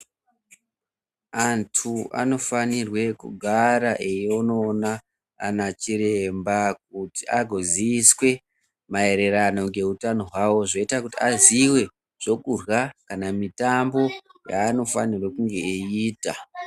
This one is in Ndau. Antu anofanire kugara einoona ana chiremba kuti agozioswe maererano ngehutano hwawo zvoita kuti aziwe zvokurya kana MITA yaanofanirwa kunge eiita.